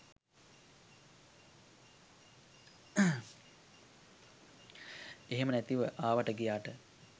එහෙම නැතිව ආවට ගියාට